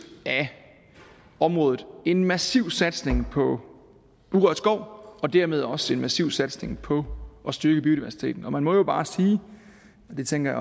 af området en massiv satsning på urørt skov og dermed også en massiv satsning på at styrke biodiversiteten og man må jo bare sige og det tænker